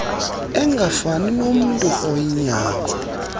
engafani nornntu oyinyarna